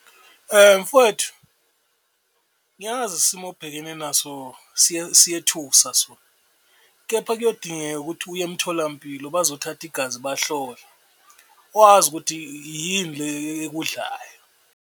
Mfwethu, ngiyazi isimo obhekene naso siyethusa sona kepha kuyodingeka ukuthi uye emtholampilo bazothatha igazi bahlole, wazi ukuthi yini le ekudlayo.